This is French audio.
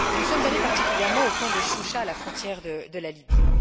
Nous sommes allés particulièrement au camp de Choucha, à la frontière de la Libye.